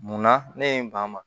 Munna ne ye n ban ma